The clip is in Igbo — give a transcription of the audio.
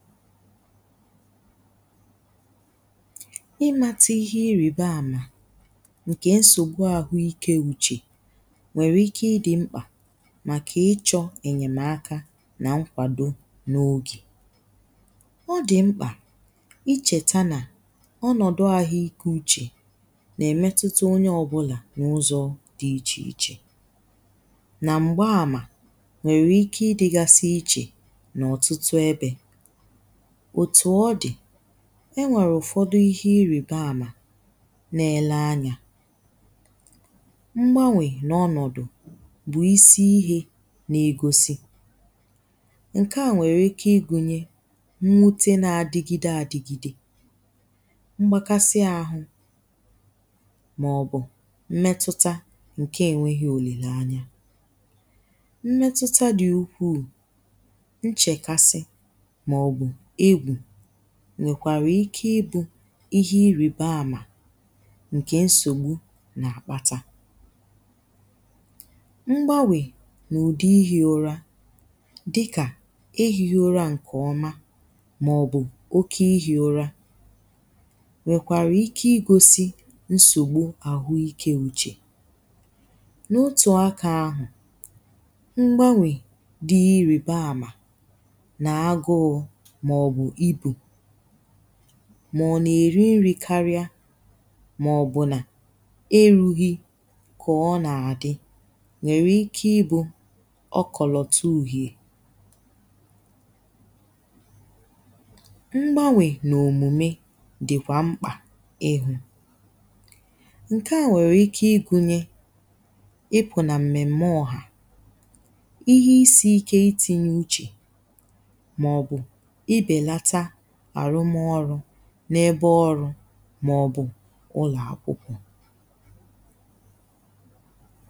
imȧtà ihe irìba àmà ǹkè nsògbu àhụ ikė uchè nwèrè ike idì mkpà màkà ichọ̇ ènyèmaka nà nkwàdo n’ogè. Odì mkpà ichèta nà ọnọ̀dụ̀ àhụ ikė uchè nà-èmetuta onye ọbụlà n’ụzọ̇ dị ichè ichè nà m̀gba àmà nwèrè ike idigasi ichè nà ọ̀tụtụ ebe otú odì, enwèrè ụ̀fọdụ ihe irìba àmà n’èle anyà mgbanwè n’ọnọ̀dụ̀ bụ̀ isi ihe n’egosi, ǹkèa nwèrè ike igùnyè nwute na-adigide àdigide, mgbakasi àhụ, màọbụ̀ mmetuta ǹkè ènwėghi òlèlà anya, mmetuta dị̀ ukwuù, nchekásí màobù egwú, nwèkwàrà ike ibụ̇ ihe irìba àmà ǹkè nsògbu nà-àkpata. Mgbanwè n’ùdi ihi̇ ụra dikà ihi̇ ụra ǹkè ọma màọ̀bụ̀ oke ihi̇ ụra nwèkwàrà ike igosi nsògbu àhụ ike uchè. N’otù aka ahụ̀ mgbanwè di irìba àmà na agúú màọ̀bụ̀ ibú, mà-ó nà-èri nri̇ karịa màọ̀bụ̀ nà eru̇ghị̇ kà ọ nà-àdị nwèrè ike ibu̇ ọ kọ̀lọ̀tụ̇ ùhè. Mgbanwè n'omumé di kwa mkpá ihu, ǹkèa nwéré ike igùnyé ipu na mmémé oha, ihe is ike itinyé úche, màobù ibelatà arum'orú n’ebe ọrụ̇ màọ̀bụ̀ ụlọ̀ akwụkwọ̇.